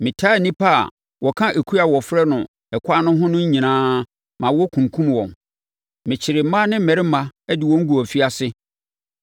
Metaa nnipa a wɔka ekuo a wɔfrɛ no Ɛkwan no ho no nyinaa ma wɔkunkumm wɔn. Mekyeree mmaa ne mmarima de wɔn guu afiase.